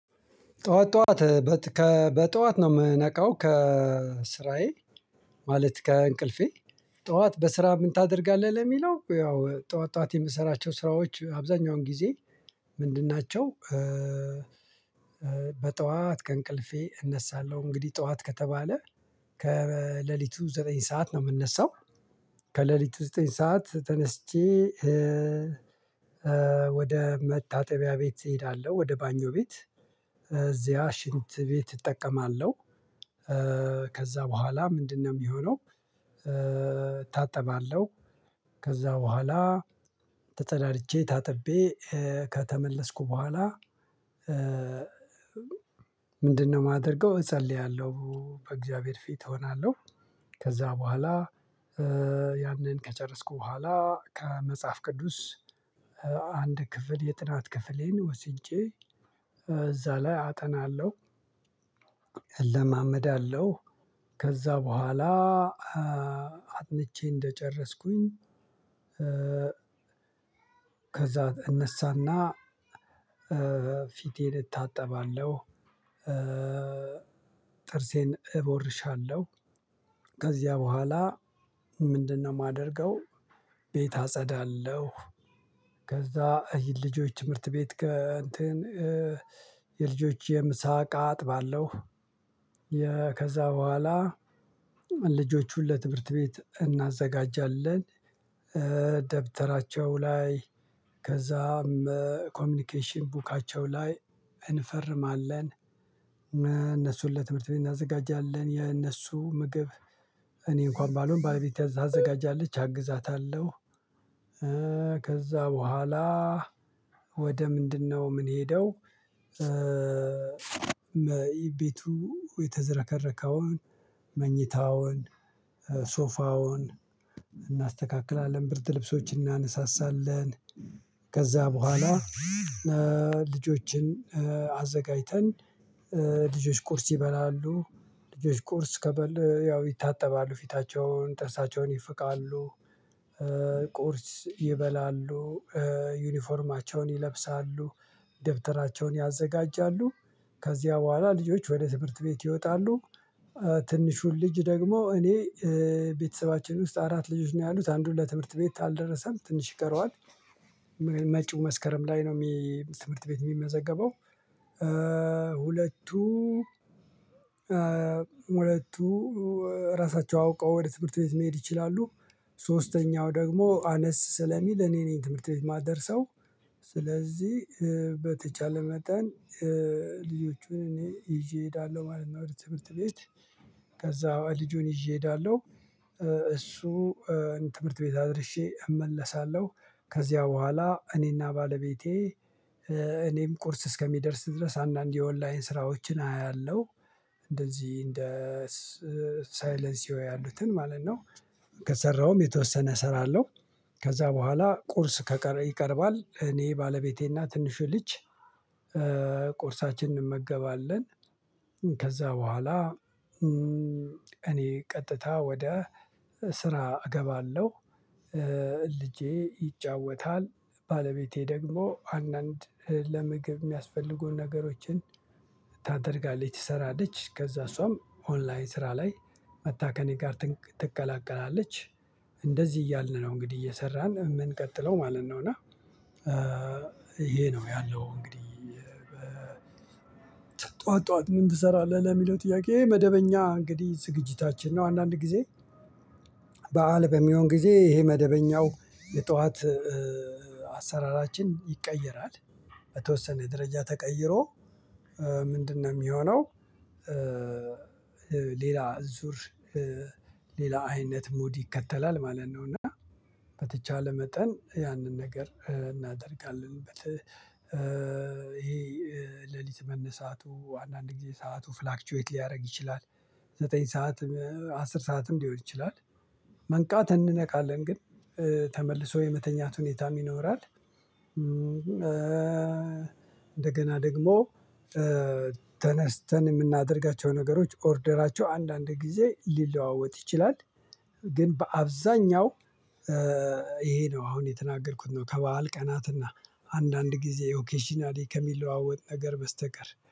ጠዋት ጠዋት በትከ በጠዋት ነው የምነቃው ከስራዬ ማለት ከእንቅልፌ ጠዋት በስራ ምን ታደርጋለህ ለሚለው ያው ጠዋት ጠዋት የምሰራቸው ስራዎች አብዛኛውን ጊዜ ምንድን ናቸው? በጠዋት ከእንቅልፌ እነሳለሁ እንግዲህ ጠዋት ከተባለ ከሌሊቱ ዘጠኝ ሰዓት ነው የምነሳው። ከሌሊቱ ዘጠኝ ሰዓት ተነስቼ ወደ መታጠቢያ ቤት እሄዳለሁ። ወደ ባኞ ቤት እዚያ ሽንት ቤት እጠቀማለሁ። ከዛ በኋላ ምንድነው የሚሆነው? እታጠባለሁ ከዛ በኋላ ተጸዳድጄ ታጥቤ ከተመለስኩ በኋላ ምንድነው የማደርገው እጸልያለሁ በእግዚአብሔር ፊት እሆናለሁ። ከዛ በኋላ ያንን ከጨረስኩ በኋላ ከመጽሐፍ ቅዱስ አንድ ክፍል የጥናት ክፍሌን ወስጄ እዛ ላይ አጠናለሁ። እለማመዳለሁ ከዛ በኋላ አጥንቼ እንደጨረስኩኝ ከዛ እነሳና ፊቴን እታጠባለሁ። ጥርሴን እቦርሻለሁ ከዚያ በኋላ ምንድነው የማደርገው? ቤት አጸዳለሁ። ከዛ የልጆች ትምህርት ቤት ከእንትን የልጆች የምሳ እቃ አጥባለው። ከዛ በኋላ ልጆቹን ለትምህርት ቤት እናዘጋጃለን። ደብተራቸው ላይ ከዛም ኮሚኒኬሽን ቡካቸው ላይ እንፈርማለን። እነሱን ለትምህርት ቤት እናዘጋጃለን የእነሱ ምግብ እኔ እንኳን ባልሆን ባለቤቴ ታዘጋጃለች አግዛታለሁ። ከዛ በኋላ ወደ ምንድነው የምንሄደው? ቤቱ የተዘረከረከውን መኝታውን ሶፋውን እናስተካክላለን ብርድ ልብሶችን እናነሳሳለን። ከዛ በኋላ ልጆችን አዘጋጅተን ልጆች ቁርስ ይበላሉ ልጆች ቁርስ ከበል ያው ይታጠባሉ ፊታቸውን ጥርሳቸውን ይፍቃሉ። ቁርስ ይበላሉ ዩኒፎርማቸውን ይለብሳሉ ደብተራቸውን ያዘጋጃሉ ከዚያ በኋላ ልጆች ወደ ትምህርት ቤት ይወጣሉ። ትንሹን ልጅ ደግሞ እኔ ቤተሰባችን ውስጥ አራት ልጆች ነው ያሉት አንዱ ለትምህርት ቤት አልደረሰም ትንሽ ይቀረዋል። መጪው መስከረም ላይ ነው የሚ ትምህርት ቤት የሚመዘገበው። ሁለቱ ሁለቱ ራሳቸው አውቀው ወደ ትምህርት ቤት መሄድ ይችላሉ። ሶስተኛው ደግሞ አነስ ስለሚል እኔ ነኝ ትምህርት ቤት የማደርሰው። ስለዚህ በተቻለ መጠን ልጆቹን እኔ ይዤ እሄዳለሁ ማለት ነው ትምህርት ቤት ከዛ ልጁን ይዤ እሄዳለሁ። እሱ ትምህርት ቤት አድርሼ እመለሳለሁ ከዚያ በኋላ እኔና ባለቤቴ እኔም ቁርስ እስከሚደርስ ድረስ አንዳንድ የኦንላይን ስራዎችን አያለሁ። እንደዚህ እንደ ሳይለንሲዮ ያሉትን ማለት ነው። ከሰራውም የተወሰነ እሰራለው። ከዛ በኋላ ቁርስ ይቀርባል እኔ ባለቤቴና ትንሹ ልጅ ቁርሳችንን እንመገባለን። ከዛ በኋላ እኔ ቀጥታ ወደ ስራ እገባለሁ። ልጄ ይጫወታል ባለቤቴ ደግሞ አንዳንድ ለምግብ የሚያስፈልጉን ነገሮችን ታደርጋለች ትሰራለች ከዛ እሷም ኦንላይን ስራ ላይ መጥታ ከኔ ጋር ትቀላቀላለች። እንደዚህ እያልን ነው እንግዲህ እየሰራን የምንቀጥለው ማለት ነው። እና ይሄ ነው ያለው። እንግዲህ ጠዋት ጠዋት ምን ትሰራለህ ለሚለው ጥያቄ መደበኛ እንግዲህ ዝግጅታችን ነው። አንዳንድ ጊዜ በዓል በሚሆን ጊዜ ይሄ መደበኛው የጧት አሰራራችን ይቀየራል። በተወሰነ ደረጃ ተቀይሮ ምንድነው የሚሆነው? ሌላ ዙር ሌላ አይነት ሙድ ይከተላል ማለት ነው። እና በተቻለ መጠን ያንን ነገር እናደርጋለን። ይሄ ሌሊት መነሳቱ አንዳንድ ጊዜ ሰዓቱ ፍላክቹዌት ሊያደርግ ይችላል። ዘጠኝ ሰዓት አስር ሰዓትም ሊሆን ይችላል። መንቃት እንነካለን ግን ተመልሶ የመተኛት ሁኔታ ይኖራል። እንደገና ደግሞ ተነስተን የምናደርጋቸው ነገሮች ኦርደራቸው አንዳንድ ጊዜ ሊለዋወጥ ይችላል። ግን በአብዛኛው ይሄ ነው አሁን የተናገርኩት ነው። ከበዓል ቀናትና አንዳንድ ጊዜ ኦኬሽናሊ ከሚለዋወጥ ነገር በስተቀር